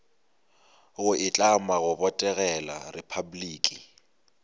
go itlama go botegela repabliki